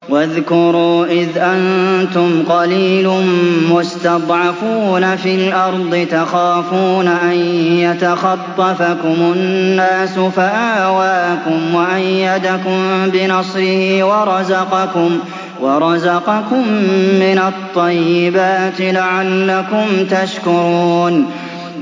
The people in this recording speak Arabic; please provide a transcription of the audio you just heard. وَاذْكُرُوا إِذْ أَنتُمْ قَلِيلٌ مُّسْتَضْعَفُونَ فِي الْأَرْضِ تَخَافُونَ أَن يَتَخَطَّفَكُمُ النَّاسُ فَآوَاكُمْ وَأَيَّدَكُم بِنَصْرِهِ وَرَزَقَكُم مِّنَ الطَّيِّبَاتِ لَعَلَّكُمْ تَشْكُرُونَ